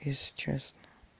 если честно